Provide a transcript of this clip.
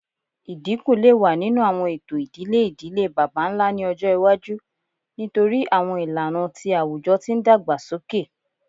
Idinku le wa ninu awọn eto idile idile baba-nla ni ọjọ iwaju nitori awọn ilana ti awujọ ti n dagbasoke